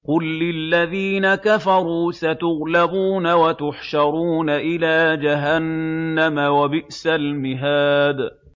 قُل لِّلَّذِينَ كَفَرُوا سَتُغْلَبُونَ وَتُحْشَرُونَ إِلَىٰ جَهَنَّمَ ۚ وَبِئْسَ الْمِهَادُ